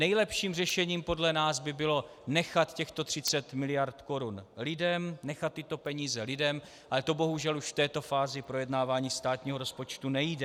Nejlepším řešením podle nás by bylo nechat těchto 30 mld. korun lidem, nechat tyto peníze lidem, ale to bohužel už v této fázi projednávání státního rozpočtu nejde.